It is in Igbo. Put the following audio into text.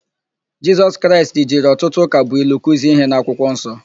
Jisọs Kraịst jiri ọtụtụ ụkabụilu kuzie íhé n'akwụkwọ nsọ.